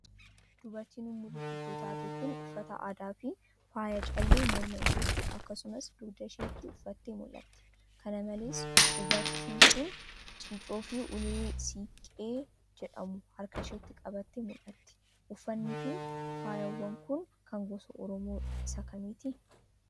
Dubartiin umurii guddoo taate kun, uffata aadaa fi faaya callee morma isheetti, akkasumas dugda isheetti uffattee mul'atti. Kana malees ubartiin kun, ciiccoo fi ulee siinqee jedhamu harka isheetti qabattee mul'atti. Uffanni fi faayawwan kun, kan gosa Oromoo isa kamiiti?